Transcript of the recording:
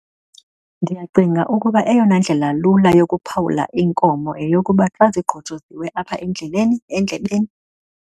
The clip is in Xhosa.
Ndiyacinga ukuba eyona ndlela lula yokuphawula iinkomo yeyokuba xa zigqojozwe apha endleleni, endlebeni.